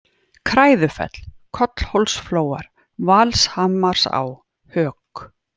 Kræðufell, Kollhólsflóar, Valshamarsá, Hök